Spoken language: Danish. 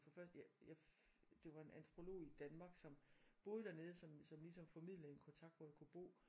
For først jeg det var en antropolog